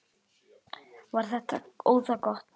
Var þetta óðagot?